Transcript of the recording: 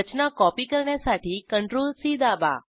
रचना copy करण्यासाठी CTRL C दाबा